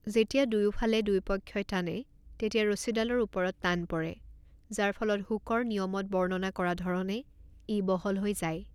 যেতিয়া দুয়োফালে দুয়োপক্ষই টানে, তেতিয়া ৰছীডালৰ ওপৰত টান পৰে, যাৰ ফলত হুকৰ নিয়মত বৰ্ণনা কৰা ধৰণে ই বহল হৈ যায়।